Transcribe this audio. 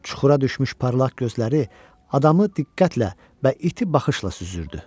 Çuxura düşmüş parlaq gözləri adamı diqqətlə və iti baxışla süzürdü.